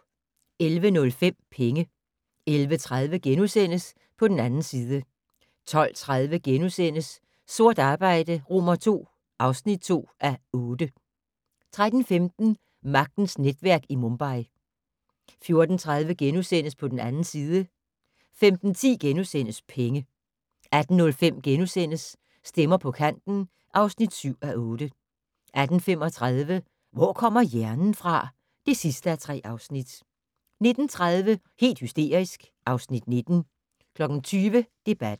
11:05: Penge 11:30: På den 2. side * 12:30: Sort arbejde II (2:8)* 13:15: Magtens netværk i Mumbai 14:30: På den 2. side * 15:10: Penge * 18:05: Stemmer på kanten (7:8)* 18:35: Hvor kommer hjernen fra? (3:3) 19:30: Helt hysterisk (Afs. 19) 20:00: Debatten